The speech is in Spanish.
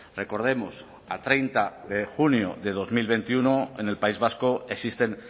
recordemos a treinta de junio de dos mil veintiuno en el país vasco existen